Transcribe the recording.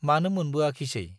मानो मोनबोआखिसै?